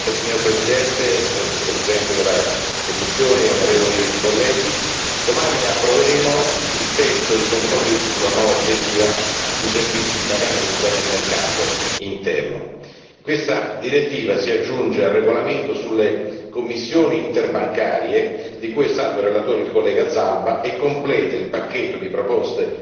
Signora Presidente, onorevoli colleghi, Vicepresidente della Commissione, domani approveremo il testo di compromesso sulla nuova direttiva sui servizi di pagamento nel mercato interno. Questa direttiva si aggiunge al regolamento sulle commissioni interbancarie di cui è stato relatore l'onorevole Zalba e completa il pacchetto di proposte